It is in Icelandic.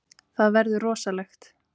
Það verður rosalegt.